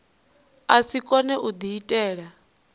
a si kone u diitela